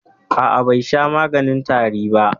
A'a, bai sha maganin tarin ba.